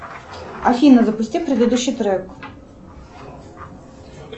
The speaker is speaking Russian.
афина запусти предыдущий трек